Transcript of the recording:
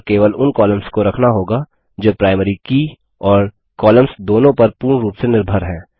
और केवल उन कॉलम्स को रखना होगा जो प्राइमरी की और कॉलम्स दोनों पर पूर्ण रूप से निर्भर हैं